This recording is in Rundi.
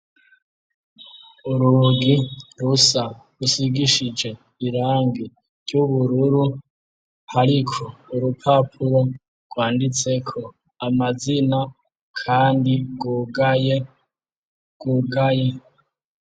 Urugi rusa rusigishije irangi ry'ubururu, ariko urupapuro rwanditseko amazina kandi rwugaye rwugaye.